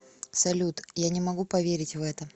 салют я не могу поверить в это